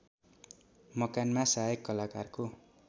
मकानमा सहायक कलाकारको